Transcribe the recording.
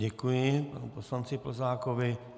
Děkuji panu poslanci Plzákovi.